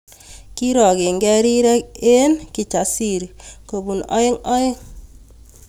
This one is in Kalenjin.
Kirongekei rirek eng Kijasiri kobun oeng oeng